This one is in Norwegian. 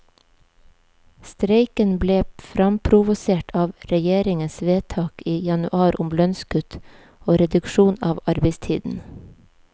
Streiken ble framprovosert av regjeringens vedtak i januar om lønnskutt og reduksjon av arbeidstiden.